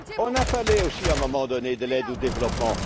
On a parlé aussi, à un moment donné, de l'aide au développement.